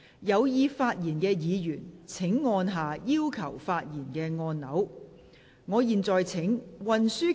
有意發言的議員請按下"要求發言"按鈕。